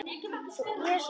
Jesús minn stundi Kata.